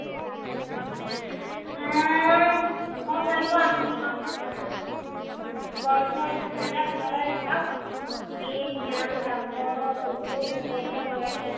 উম মই ভাল পোৱা আধুনিক গ্ৰন্থ গ্ৰন্থ অধ্যয়ন এটা ভাল অভ্যাস ই জ্ঞান লাভত প্ৰচুৰ কৰে